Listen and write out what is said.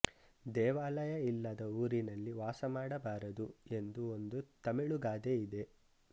ದೇವಾಲಯ ಇಲ್ಲದ ಊರಿನಲ್ಲಿ ವಾಸಮಾಡಬಾರದು ಎಂದು ಒಂದು ತಮಿಳು ಗಾದೆ ಇದೆ